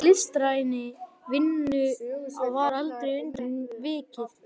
En í listrænni vinnu var aldrei undan vikið.